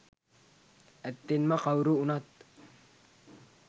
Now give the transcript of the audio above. ඇත්තෙන්ම කවුරු වුණත්